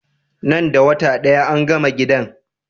Nan da wata daya angama gidan?